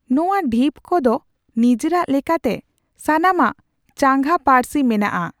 ᱱᱚᱣᱟ ᱰᱷᱤᱵ ᱠᱚᱫᱚ ᱱᱤᱡᱮᱨᱟᱜ ᱞᱮᱠᱟᱛᱮ ᱥᱟᱱᱟᱢᱟᱜ ᱪᱟᱸᱜᱟ ᱯᱟᱹᱨᱥᱤ ᱢᱮᱱᱟᱜᱼᱟ ᱾